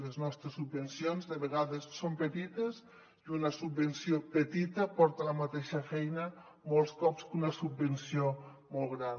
les nostres subvencions de vegades són petites i una subvenció petita porta la mateixa feina molts cops que una subvenció molt gran